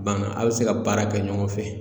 Banna a bɛ se ka baara kɛ ɲɔgɔn fɛ